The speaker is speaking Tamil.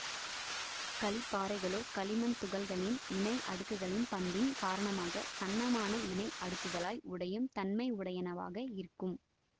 களிப்பாறைகளோ களிமண் துகள்களின் இணை அடுக்குகளின் பண்பின் காரணமாக சன்னமான இணை அடுக்குகளாய் உடையும் தன்மை உடையனவாக இருக்கும்